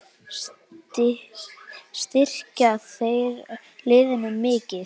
Styrkja þeir liðin mikið?